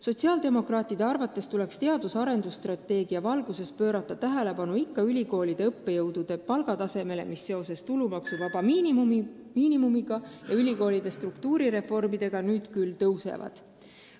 Sotsiaaldemokraatide arvates tuleks teadus- ja arendusstrateegia valguses pöörata tähelepanu ka ülikoolide õppejõudude palkadele, mis seoses tulumaksuvaba miinimumi kasvu ja ülikoolide struktuurireformidega nüüd küll tõusevad.